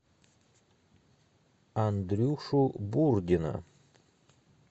андрюшу бурдина